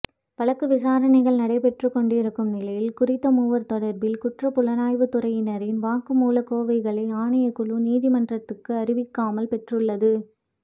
வழக்கு விசாரணைகள் நடைபெற்றுக்கொண்டிருக்கும் நிலையில் குறித்த மூவர் தொடர்பில் குற்றப் புலனாய்வுத்துறையினரின் வாக்குமூலக் கோவைகளை ஆணைக்குழு நீதிமன்றத்துக்கு அறிவிக்காமல் பெற்றுள்ளது